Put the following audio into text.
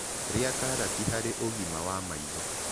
Rĩa karatĩ harĩ ũgima wa maĩtho